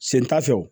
Sen t'a fɛ o